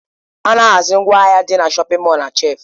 A na-ahazi ngwaahịa dị na shọpin mọl na shelfu.